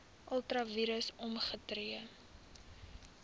ultra vires opgetree